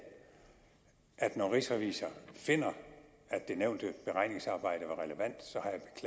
at ministeriet når rigsrevisor finder at det nævnte beregningsarbejde